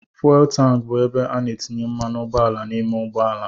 Fụwel tanki bụ ebe a na-etinye mmanụ ụgbọala n'ime ụgbọala.